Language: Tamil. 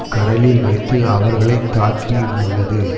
கடலில் வைத்து அவர்களை தாக்கியுமுள்ளது